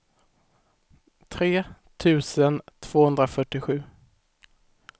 tre tusen tvåhundrafyrtiosju